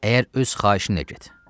Əgər öz xahişinlə get.